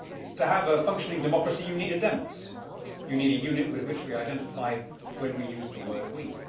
To have a functioning democracy you need a you need a unit with which we identify when we use the word we'.